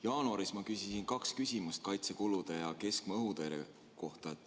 Jaanuaris ma küsisin kaks küsimust kaitsekulude ja keskmaa-õhutõrje kohta.